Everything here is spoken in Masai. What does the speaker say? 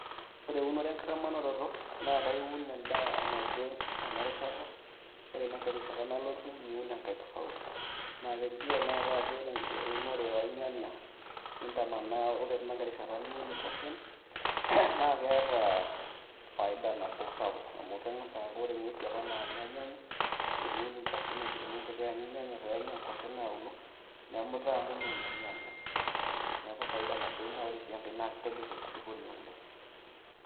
Ore eunoto enkitamanaroto naa kaiun endaa naje enarishata, ore inankae rishata nalotu niun enkae tofauti. Naa kelio tenakata ajo ore eunore olnyanya nintamanaa ore teina kae rishata niun nkuashen, naa keeta faida nabo sapuk, amu keng'as aaku ore ng'uesi opa naanya ilnyanya teniun nkuashen ejito ninche keanyu ilnyanya peenya naa nkuashen nauno, nemuta amu menya ilnyanya neeku faida nabo ina ore sii enkae naa keitobirr enkulupuoni oleng'.